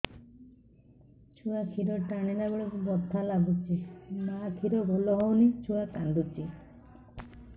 ଛୁଆ ଖିର ଟାଣିଲା ବେଳକୁ ବଥା ଲାଗୁଚି ମା ଖିର ଭଲ ହଉନି ଛୁଆ କାନ୍ଦୁଚି